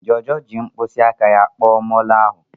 Jojo ji mkpịsị aka ya kpọọ molo ahu.